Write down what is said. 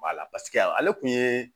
Wala paseke ale tun ye